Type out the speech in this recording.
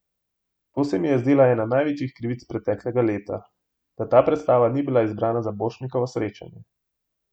To se mi je zdela ena največjih krivic preteklega leta, da ta predstava ni bila izbrana za Borštnikovo srečanje.